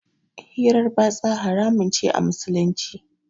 hirar batsa haramun ce a Musulunci.